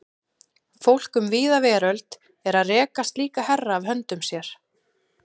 Fólk um víða veröld er að reka slíka herra af höndum sér.